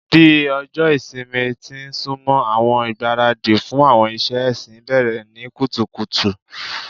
Bi ọjọ ìsinmi ti n sunmọ, awọn igbaradi fun awọn iṣẹ ẹsin bẹrẹ ni kutukutu